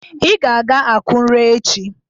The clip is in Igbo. Ị ga-aga Akụre echi!